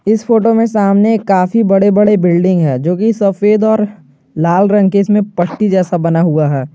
इस फोटो में सामने काफी बड़े बड़े बिल्डिंग है जो की सफेद और लाल रंग के इसमें पट्टी जैसा बना हुआ है।